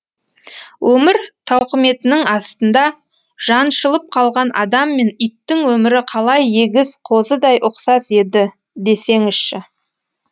өмір тауқыметінің астында жаншылып қалған адам мен иттің өмірі қалай егіз қозыдай ұқсас еді десеңізші